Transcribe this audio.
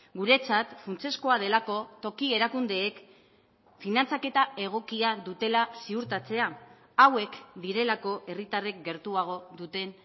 guretzat funtsezkoa delako toki erakundeek finantzaketa egokia dutela ziurtatzea hauek direlako herritarrek gertuago duten